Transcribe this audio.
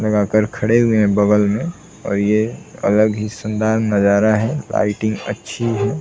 लगा कर खड़े हुए है बगल में और ये अलग ही शानदार नजारा है राइटिंग अच्छी है।